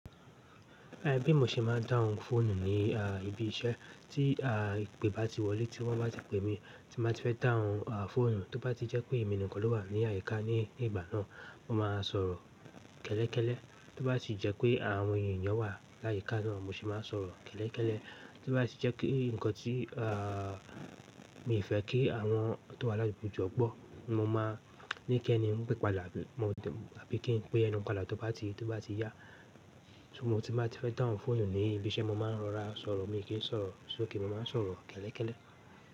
Ẹ bí mo ṣe máa ń dáhùn fóònù ní ibi iṣẹ́ tí ìpè bá ti wọlé, tí wọ́n bá ti pè mí tí máa ti fẹ́ dáhùn fóònù. Tó bá ti jẹ́ pé èmi nìkan ló wà ní áyíká ní ìgbà náà, mo máa sọ̀rọ̀ kẹ́lẹ́kẹ́lẹ́. Tó bá ti jẹ́ pé àwọn ènìyàn wà láyíká náà, mo ṣe máa sọ̀rọ̀ kẹ́lẹ́kẹ́lẹ́. Tí ó bá ti jẹ́ pé nǹkan tí à mi fẹ́ kí àwọn tó wà láyi ìbòjú gbọ́, mo máa ní kí ẹni ń pè mi pàdà bí mo tẹ̀, àbí kí n pè ẹ́ ni yèn pàdà tí ó bá ti, tí ó bá ti yá. Tí mo ti máa ti fẹ́ dáhùn fóònù ní ibi iṣẹ́, mo máa ń rọra sọ̀rọ̀. Mi kì n sọ̀rọ̀ sókè, mo máa n sọ̀rọ̀ kẹ́lẹ́kẹ́lẹ́.